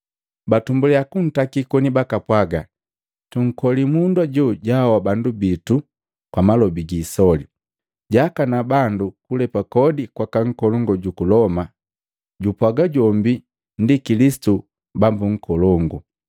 Batumbuliya kuntakii koni bakapwaga, “Tunkoli mundu ajo jaahoa bandu biito kwa malobi gisoli. Jaakana bandu kulepa kodi kwaka nkolongu juku Loma, jupwaaga jombi ndi Kilisitu, Bambo nkolongu.”